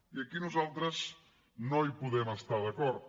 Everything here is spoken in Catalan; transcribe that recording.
i aquí nosaltres no hi podem estar d’acord